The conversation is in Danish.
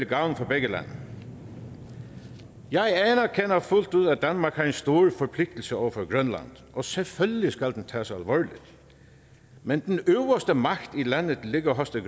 gavn for begge lande jeg anerkender fuldt ud at danmark har en stor forpligtelse over for grønland og selvfølgelig skal den tages alvorligt men den øverste magt i landet ligger hos det